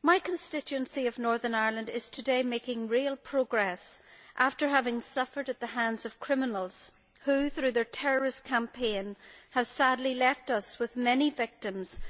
My constituency of Northern Ireland is today making real progress after having suffered at the hands of criminals who, through their terrorist campaign, have sadly left us with many victims